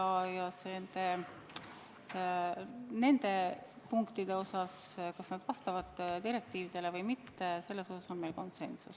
Selles osas, kas need punktid vastavad direktiividele või mitte, on meil konsensus.